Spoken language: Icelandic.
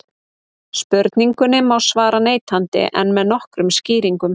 spurningunni má svara neitandi en með nokkrum skýringum